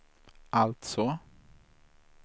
alltså